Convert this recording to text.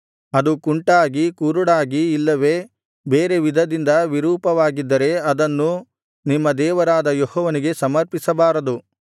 ಅದು ಕುಂಟಾಗಿ ಕುರುಡಾಗಿ ಇಲ್ಲವೆ ಬೇರೆ ವಿಧದಿಂದ ವಿರೂಪವಾಗಿದ್ದರೆ ಅದನ್ನು ನಿಮ್ಮ ದೇವರಾದ ಯೆಹೋವನಿಗೆ ಸಮರ್ಪಿಸಬಾರದು